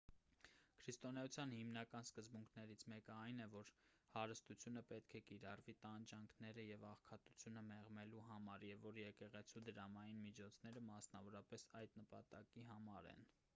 քրիստոնեության հիմնական սկզբունքներից մեկն այն է որ հարստությունը պետք է կիրառվի տանջանքները և աղքատությունը մեղմելու համար և որ եկեղեցու դրամային միջոցները մասնավորապես այդ նպատակի համար են